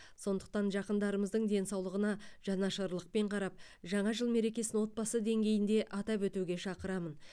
сондықтан жақындарымыздың денсаулығына жанашырлықпен қарап жаңа жыл мерекесін отбасы деңгейінде атап өтуге шақырамын